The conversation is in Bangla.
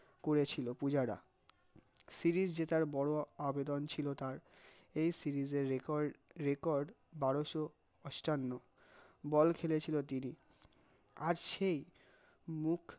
করেছিল পূজারা series জেতার বড় আবেদন ছিল তার, এই series record বারশ অষ্টান্ন বল খেলে ছিল রিতি, আর সেই মুখ